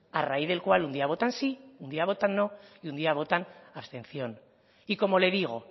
a raíz del cual un día votan sí un día votan no y un día votan abstención y como le digo